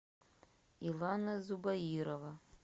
илана зубаирова